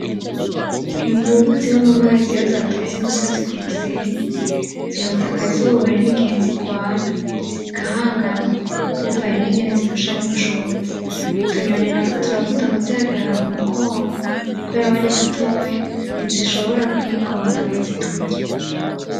Imvubu ziba mumazi zaduze imusozi kumusenyi , zirota akazuba hariho n'igihe zirwana zigahangana bivanye ningene zirushanya ubushobozi. Utunyoni natwo turakunda kuzigarara ku mugongo kubera zidashobora kwigondama ngo ziturye.